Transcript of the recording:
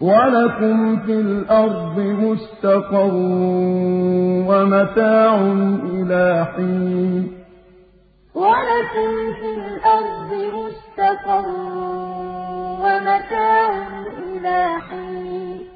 وَلَكُمْ فِي الْأَرْضِ مُسْتَقَرٌّ وَمَتَاعٌ إِلَىٰ حِينٍ فَأَزَلَّهُمَا الشَّيْطَانُ عَنْهَا فَأَخْرَجَهُمَا مِمَّا كَانَا فِيهِ ۖ وَقُلْنَا اهْبِطُوا بَعْضُكُمْ لِبَعْضٍ عَدُوٌّ ۖ وَلَكُمْ فِي الْأَرْضِ مُسْتَقَرٌّ وَمَتَاعٌ إِلَىٰ حِينٍ